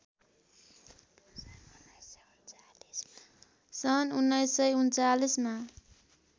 सन् १९३९ मा